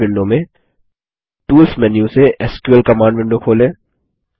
base window में tools menu से SQL command window खोलें